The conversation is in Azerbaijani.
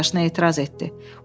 Meri qardaşına etiraz etdi.